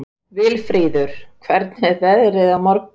Vilfríður, hvernig er veðrið á morgun?